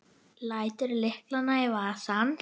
Lætur lyklana í vasann.